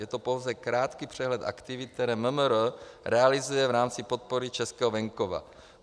Je to pouze krátký přehled aktivit, které MMR realizuje v rámci podpory českého venkova.